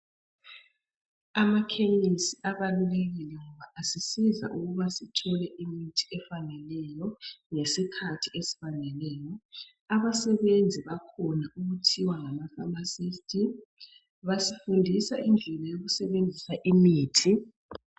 Amakhemesi abalulekile ngoba asisiza ukuba sithole imithi efaneleyo, ngesikhathi esifaneleyo. Abasebenzi bakhona okuthiwa ngama famasisti, basifundisa indlela yokusebenzisa imithi.